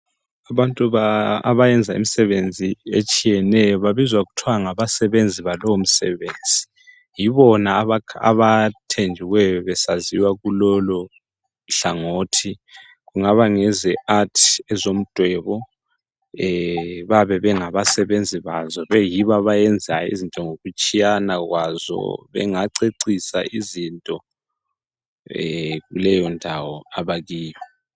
Abantu abayenza imisebenzi etshiyeneyo babizwa kuthiwa ngabasenzi balowo msebenzi. Yibona abathenjiweyo besaziwa kulolohlangothi .Kungaba ngeze art ezomdwebo. Bayabe bengabasebenzi bazo beyibo abayenza izinto ngokutshiyana kwazo. Bengacecisa izinto kuleyondawo abakiyo